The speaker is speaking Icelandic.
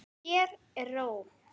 Hér er ró.